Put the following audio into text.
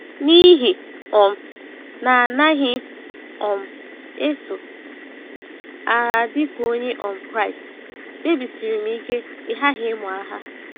N’ihi um na anaghị m um eso agha dịka Onye um Kraịst, kpebisiri m ike ịghaghị ịmụ agha.